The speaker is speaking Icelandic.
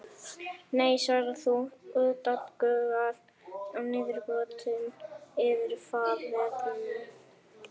Nei svarar þú, úttaugaður og niðurbrotinn yfir faðerninu.